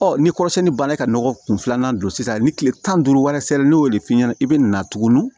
ni kɔrɔsɛni banna ka nɔgɔ kun filanan don sisan ni kile tan ni duuru wɛrɛ sɛbɛn ni y'o de f'i ɲɛna i bɛ na tuguni